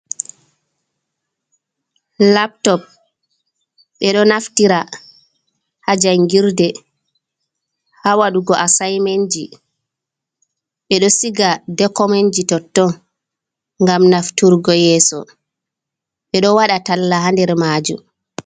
Laptop ɓeɗo naftira ha jangirde ha waɗugo assaimenji, ɓeɗo siga dokomenji totton ngam nafturgo yeso, ɓeɗo waɗa talla ha nder majum.